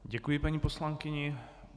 Děkuji paní poslankyni.